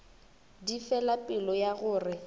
di fela pelo ya gore